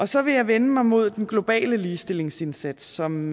så vil jeg vende mig mod den globale ligestillingsindsats som